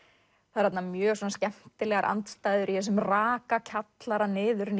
það eru þarna mjög skemmtilegar andstæður í þessum raka kjallara